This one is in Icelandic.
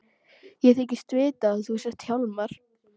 Ég þykist vita að þú sért Hjálmar.